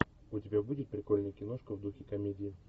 у тебя будет прикольная киношка в духе комедии